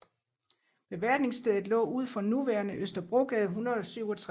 Beværtningsstedet lå ud for nuværende Østerbrogade 167